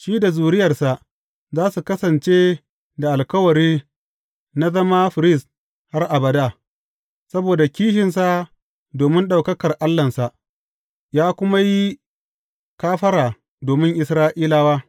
Shi da zuriyarsa za su kasance da alkawari na zama firist har abada, saboda kishinsa domin ɗaukakar Allahnsa, ya kuma yi kafara domin Isra’ilawa.